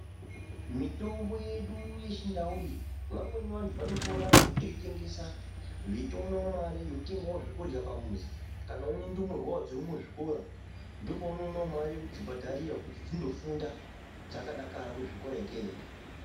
Mitombo yedu yechindau iyi vamweni vanhu vanopona ngekutoitengesa veitoonawo mare yekutengawo zvekurya pamuzi kana unendumurwa wo dzirimuzvikora ndopounoonawo mare yekudzibhadharira kuti dzinofunda dzakdakara kuzvikora ikeyo.